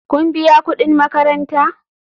Kun biya kudin makaranta?